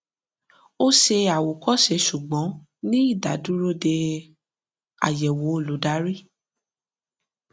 ó ṣe àwòkọṣe ṣùgbọn ní ìdádúró dé ayẹwò olùdarí